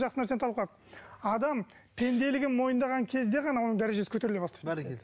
жақсы нәрсені талқыладық адам пенделігін мойындаған кезде ғана оның дәрежесі көтеріле бастайды бәрекелді